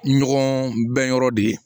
Ɲɔgɔn bɛn yɔrɔ de ye